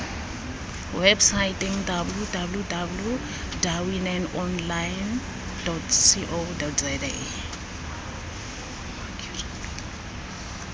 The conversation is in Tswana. websaeteng www dawineonline co za